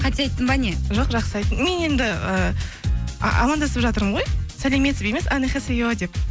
қате айттым ба не жоқ жақсы айттың мен енді і амандасып жатырмын ғой сәлеметсіз бе емес деп